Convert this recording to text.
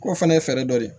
O fana ye fɛɛrɛ dɔ de ye